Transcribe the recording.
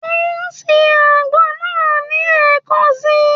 Ó ń se àgbo náà ní ẹ̀kan si.